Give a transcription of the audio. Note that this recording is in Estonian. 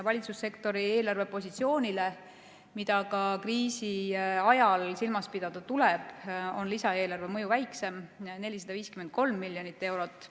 Valitsussektori eelarvepositsioonile, mida ka kriisi ajal silmas pidada tuleb, on lisaeelarve mõju väiksem, 453 miljonit eurot.